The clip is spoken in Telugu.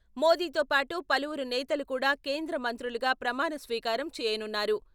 మోదీతో పాటు పలువురు నేతలు కూడా కేంద్ర మంత్రులుగా ప్రమాణస్వీకారం చేయనున్నారు.